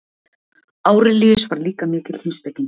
Árelíus var líka mikill heimspekingur.